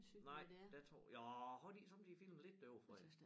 Nej der tror ja har de ikke somme tider filmet lidt derovrefra